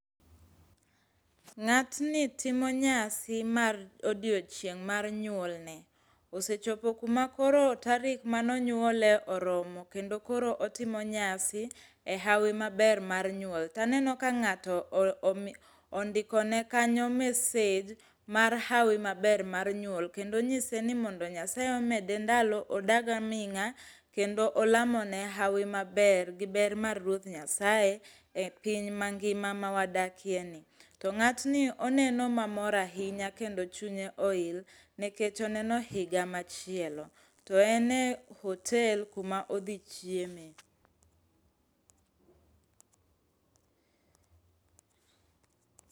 Ng'atni timo nyasi mar odiochieng' mar nyuolne, osechopo kuma koro tarik mane onyuole oromo kendo koro otimo nyasi e hawi maber mar nyuol, taneno ka ng'ato ondikone kanyo message mar hawi maber mar nyuol kendo onyise ni mondo Nyasaye omede ndalo odag aming'a kendo olamone hawi maber gi ber mar Ruoth Nyasaye e piny mangima ma wadakieni. To ng'atni oneno mamor ahinya kendo chunye oil nikech oneno higa machielo, to en e hotel kuma odhi chieme.